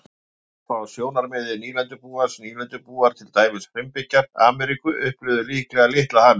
Gallar frá sjónarmiði nýlendubúans Nýlendubúar, til dæmis frumbyggjar Ameríku, upplifðu líklega litla hamingju.